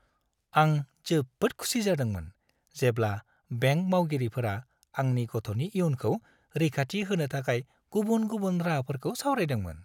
आं जोबोद खुसि जादोंमोन जेब्ला बेंक मावगिरिफोरा आंनि गथ'नि इयुनखौ रैखाथि होनो थाखाय गुबुन-गुबुन राहाफोरखौ सावरायदोंमोन।